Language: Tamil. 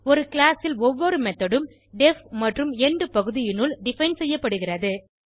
ஒரு கிளாஸ் ல் ஒவ்வொரு மெத்தோட் உம் டெஃப் மற்றும் எண்ட் பகுதியினுள் டிஃபைன் செய்யப்படுகிறது